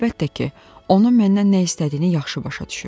Əlbəttə ki, o məndən nə istədiyini yaxşı başa düşürdüm.